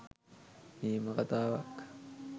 නියම කතාවක්